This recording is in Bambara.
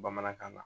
Bamanankan na